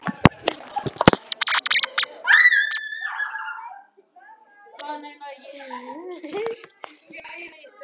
Hvað var maðurinn að gefa í skyn?